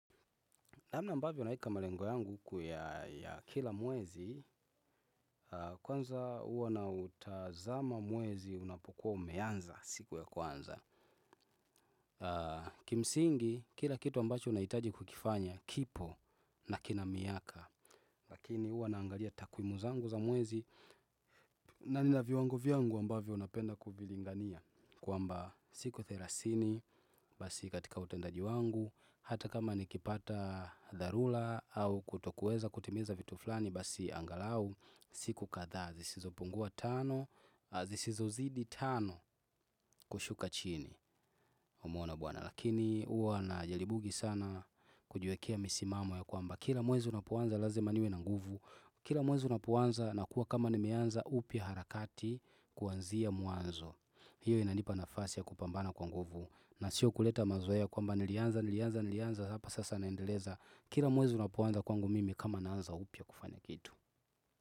Namna ambavyo naweka malengo yangu ya kila mwezi, kwanza huwa nautazama mwezi unapokuwa umeanza siku ya kwanza. Kimsingi, kila kitu ambacho unahitaji kukifanya kipo na kina miaka. Lakini huwa naangalia takwimu zangu za mwezi na nina viwango vyangu ambavyo napenda kuvilingania. Kwamba siku thelathini basi katika utendaji wangu hata kama nikipata dharula au kutokuweza kutimiza vitu fulani basi angalau siku kadhaa zisizo pungua tano zisizo zidi tano kushuka chini humuona bwana lakini uwa najaribugi sana kujiwekea misimamo yakwamba kila mwezi unapoanza lazima niwe na nguvu kila mwezi unapoanza na kuwa kama ni nimeanza upya harakati kwanzia mwanzo. Hiyo inanipa nafasi ya kupambana kwa nguvu na sio kuleta mazoea kwamba nilianza nilianza nilianza alafu sasa naendeleza kila mwezi unapoanza kwangu mimi kama naanza upya kufanya kitu.